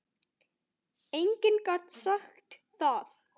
Enginn gat sagt það.